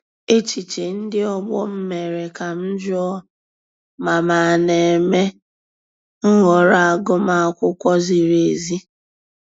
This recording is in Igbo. Echiche ndị ọgbọ m mere ka m jụọ ma m na-eme nhọrọ agụmakwụkwọ ziri ezi.